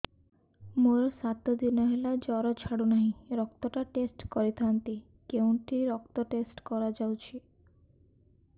ମୋରୋ ସାତ ଦିନ ହେଲା ଜ୍ଵର ଛାଡୁନାହିଁ ରକ୍ତ ଟା ଟେଷ୍ଟ କରିଥାନ୍ତି କେଉଁଠି ରକ୍ତ ଟେଷ୍ଟ କରା ଯାଉଛି